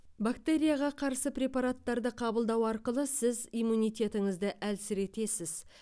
бактерияға қарсы препараттарды қабылдау арқылы сіз иммунитетіңізді әлсіретесіз